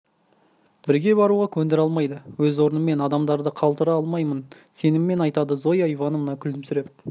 бірге баруға көндіре алмайды өз орным мен адамдарымды қалтыра алмаймын сеніммен айтады зоя ивановна күлімсіреп